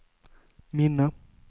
minne